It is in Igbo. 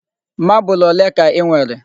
Marble ole ka I nwere?